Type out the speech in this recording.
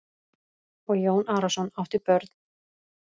Og Jón Arason átti mörg börn sem aftur áttu mörg börn.